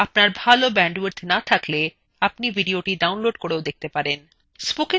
আপনার ভাল bandwidth না থাকলে আপনি এটি download করেও দেখতে পারেন